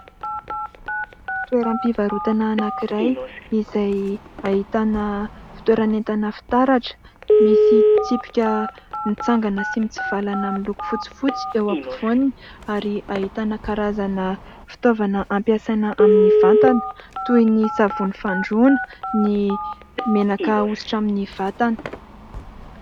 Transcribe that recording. Toeram-pivarotana anankiray izay ahitana fitoeran'entana fitaratra misy tsipika mitsangana sy mitsivalana miloko fotsifotsy eo afovoany ary ahitana karazana fitaovana ampiasaina amin'ny vatana toy ny savony fandroana, ny menaka ahosotra amin'ny vatana.